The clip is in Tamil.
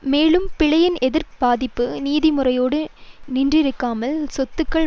மேலும் பிழையின் எதிர் பாதிப்பு நிதி முறையோடு நின்றிருக்காமல் சொத்துக்கள்